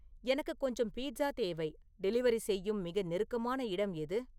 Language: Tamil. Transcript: எனக்கு கொஞ்சம் பீட்சா தேவை டெலிவரி செய்யும் மிக நெருக்கமான இடம் எது